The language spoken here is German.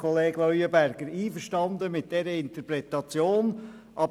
Ich bin einverstanden mit der Interpretation von Grossrat Leuenberger.